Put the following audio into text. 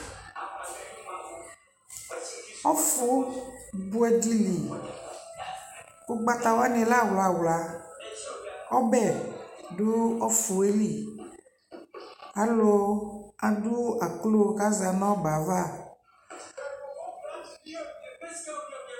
q1ɔƒʋ bʋɛ dili, ɔgbata wani lɛ awla awla, ɔbɛ dʋ ɔƒʋɛ li, alɔ adʋ aklʋɔ kʋ aza nʋ ɔbɛ aɣa